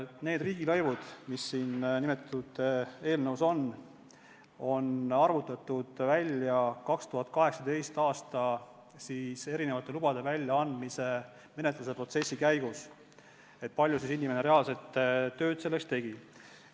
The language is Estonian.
Need riigilõivud, mis eelnõus on, on arvutatud välja 2018. aasta lubade väljaandmise protsessi käigus, vaadates, kui palju inimene reaalselt tööd tegi.